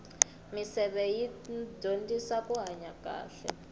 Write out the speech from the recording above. misevetho yi dyondzisa kuhanya kahle